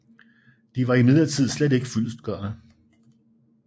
De var imidlertid slet ikke fyldestgørende